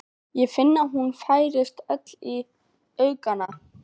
Ég finn að hún færist öll í aukana.